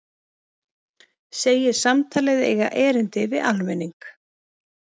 Segir samtalið eiga erindi við almenning